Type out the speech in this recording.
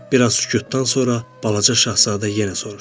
Bir az sükutdan sonra Balaca Şahzadə yenə soruşdu.